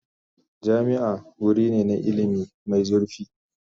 Jami'a wuri ne na ilimi mai zurfi.